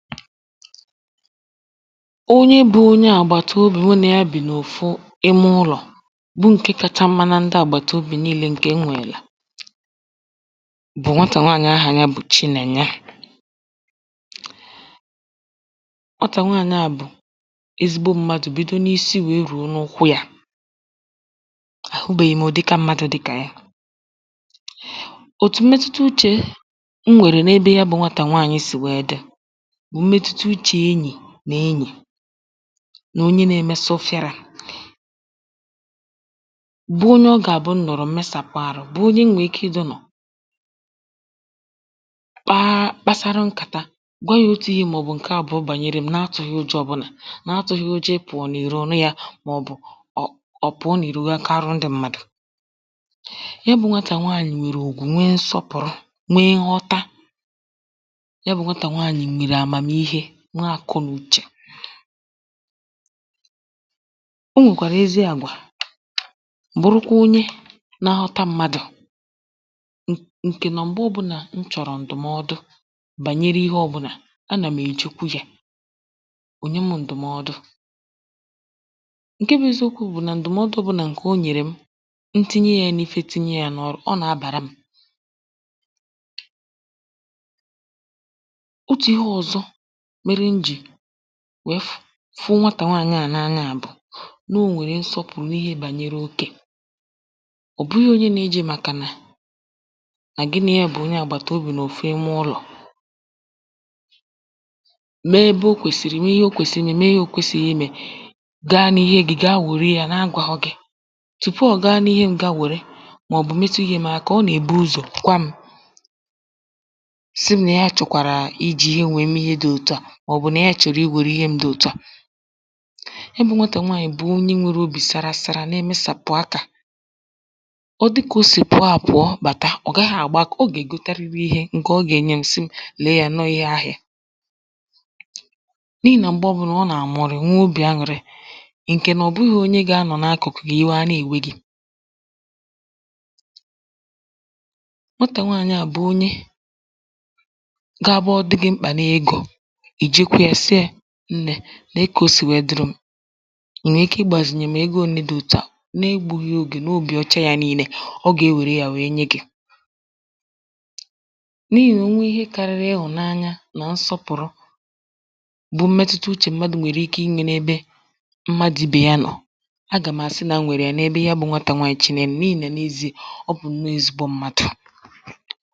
onye bụ̄ onye àgbàtobì mụ nà ya bì n’òfu imụlọ̀ bụ ǹke kāchā mma nà ndị àgbàtobì niīlē ǹkè m nwèrè bụ̀ nwatà nwaànyị̀ ahà ya bụ̀ chinènye. Nwatà nwaànyị à bụ̀ ezigbo m̄mādụ̀ bido n’isi ya nwèe rùo n’ụkwụ yā àhụbèghì m̀ ụ̀dịka m̄mādụ̀ dịkà ya òtù mmetuta uchè m nwèrè n’ebe ya bụ̄ nwatà nwaànyị̀ sị̀ nwèe dị bụ̀ mmetuta uchè enyì nà enyì nà onye nā-ēmē sofirā bụ onye ọ gà-àbụ m nọ̀rọ m̀ mesàpụ ārụ̄ bụ onye m nwèrè ike idīnọ̀ kpaa kpasarụ nkàta gwa yā òtu ihē màọ̀bụ̀ ǹke àbụ̀ọ gbànyere m̄ na-atụ̄ghị̀ ụjọ ọ̄bụ̄là na-atụ̄ghị̀ ụ̀jọ̀ ịpụọ̀ n’ìro ọ̀ nụ yā màọ̀bụ̀ ọ̀ ọ̀ pụ̀ọ n’ìro nwee kaarụ ndị m̄mādụ̀ ya bụ̄ nwatà nwaànyị̀ nwèrè ùgwù nwe nsọpụ̀rụ nwe nhọta ya bụ̄ nwatà nwaànyị̀ nwèrè àmàmihe nwee àkọ nà uchè o nwèkwàrà ezi àgwà bụrụkwa onye nā-āhọ̄tā mmadụ̀ ǹ ǹkè nà m̀gbe ọ̄bụ̄nà m chọ̀rọ̀ ǹdụ̀mọdụ̀ gbànyere ihe ọ̄bụ̄nà anà m̀ èjeku yā o nye m̄ ǹdụ̀mọọdụ ǹke bụ̄ eziokwū bụ̀ nà ǹdụ̀mọdụ ọ̄bụ̄nà ǹkè o nyèrè m tinye yà n’īfē tinye yā n’ọ̄rụ̄ ọ nà-abàra m̄ otù ihe ọ̀zọ mērē m jì nwèe fụ fụ nwatà nwaànyị à n’anya bụ̀ na o nwèrè nsọpụ̀rụ gbànyere òkè ọ̀ bụghị̄ onye nā-ējī màkànà nà gị nà ya bụ̀ onye àgbàtobì n’òfu imụlọ̀ mee ebe o kwèsì mee ihe o kwèsìrì imē mee ihe o kwēsìghì imē gaa n’ihē gị̄ gaa wère yā na-agwāghọ̄ gị̄ tupu ọ̀ gaa n’ihē m̄ gaa wère màọ̀bụ̀ metu ihē m̄ aka ọ nà-èbu ụzọ̀ gwa m̄ si m̄ nà ya chọ̀kwàrà ijī yā nwèe mee ihe dị̄ òtu à màọ̀bụ̀ nà ya chọ̀rọ̀ iwère ihe m̄ dị òtu à ya bụ̄ nwatà nwaànyị̀ bụ̀ onye nwērē obì sara sara na-èmesàpụ akā ọ dị kà o sì pụ̀ọ àpụ̀ọ bàta ọ gàghị̄ àgba akā ọ gà-ègotariri ihē ǹkè ọ gà-ènye m̄ si m̄ lèe yā nà ọọ̀ ihe ahịā n’ihì nà m̀gbe ọ̄bụ̄nà ọ nà-àmọrị nwe obì anwụ̀rị ǹkè nà ọ̀ bụghị̄ onye ga-anọ̀ na-akụ̀kụ̀ gị̀ ìwè ànà èwe gī nwatà nwaànyị à bụ̀ onye ga-abụ ọ dị́ gị̄ mkpà n’egō i jeku yā sị yā nnē nèe kà o sì nwèe dịrị m̄ ì nwè ike igbàzìnyè m̀ ego ōnē dị òtu à na-egbūghī ogè n’obì ọcha yā niīnē ọ ga-ewèrè yā nwèe nye gī n’ihì nà o nwe ihe kārị̄rị̄ ịhụ̀nanya nà nsọpụ̀rụ bụ mmetuta uchè mmadụ̀ nwèrè ike imē n’ebe mmadụ̀ ibè ya nọọ̀ agà m̀ àsị nà m nwèrè yà n’ebe ya bụ̄ nwatà nwaànyị chinènye n’ihì nà n’eziē ọ bụ̀ ǹnọọ̄ ezigbo m̄mādụ̀.